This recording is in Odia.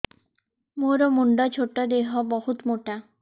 ମୋର ମୁଣ୍ଡ ଛୋଟ ଦେହ ବହୁତ ମୋଟା